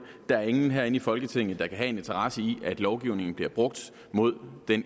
der er ingen herinde i folketinget der kan have en interesse i at lovgivningen bliver brugt mod det